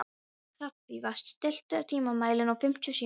Hrafnfífa, stilltu tímamælinn á fimmtíu og sjö mínútur.